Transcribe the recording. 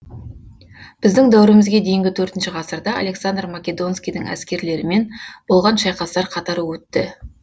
біздің дәуірімізге дейінгі төртінші ғасырда александр македонскийдің әскерлерімен болған шайқастар қатары өтті